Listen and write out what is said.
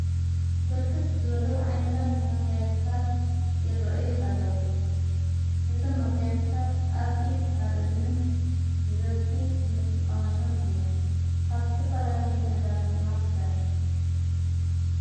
ብርክት ዝበሉ ዓይነታት መጋያታት ይርአዩ ኣለዉ እቶም መጋያታት ኣብ ኢድ ኣብ እዝንን በዝኂ እንጥቀመሎም እየም ካብቲፈላለየ ነገራህ ድማ ተሠሪሑ።